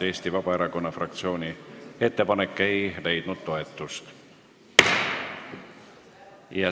Eesti Vabaerakonna fraktsiooni ettepanek ei leidnud toetust.